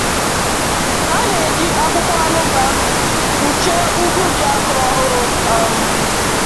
“Ha na-eji akwụkwọ anụbà kpuchie ugwu ji a kụrụ ọhụrụ. um